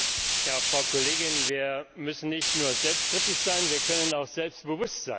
Frau Kollegin, wir müssen nicht nur selbstkritisch sein, wir können auch selbstbewusst sein.